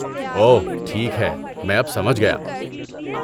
اوہ ٹھیک ہے، میں اب سمجھ گیا۔